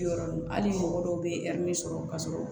Yɔrɔ hali mɔgɔ dɔw bɛ yan n'i sɔrɔ ka sɔrɔ